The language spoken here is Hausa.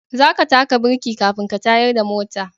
Za ka taka birki kafin ka tayar da mota